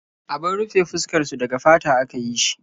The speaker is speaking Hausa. Abun rufe fuskar su daga fata aka yi shi.